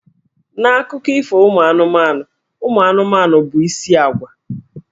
N'Akụkọ Ifo ụmụ anụmanụ, ụmụ anụmanụ bụ isi ágwà.